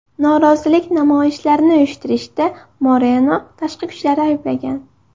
Norozilik namoyishlarini uyushtirishda Moreno tashqi kuchlarni ayblagan.